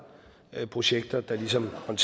projekter der ligesom